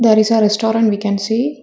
There is a restaurant we can see --